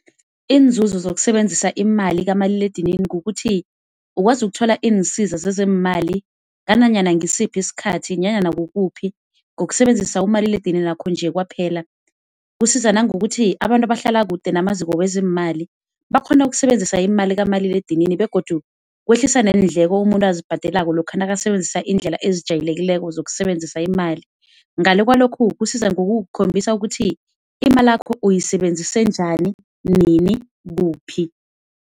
Iinzuzo zokusebenzisa imali kamaliledinini ngokuthi ukwazi ukuthola iinsiza zezeemali nanyana ngisiphi isikhathi nanyana kukuphi ngokusebenzisa umaliledininakho nje kwaphela. Kusiza nangokuthi, abantu abahlala kude namaziko wezeemali bakghone ukusebenzisa imali kamaliledinini begodu kwehlisa neendleko umuntu azibhadelako lokha nakasebenzisa iindlela ezijayelekileko zokusebenzisa imali. Ngale kwalokhu, kusiza ngokukhombisa ukuthi imalakho uyisebenzise njani, nini, kuphi.